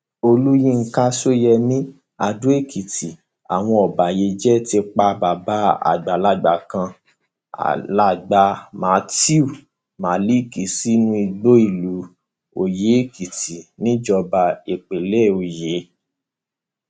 olùyinka sóyemí adóèkìtì àwọn ọbàyéjẹ ti pa bàbá àgbàlagbà kan alàgbà matthew malik sínú igbó nílùú oyèèkìtì níjọba ìbílẹ ọyẹ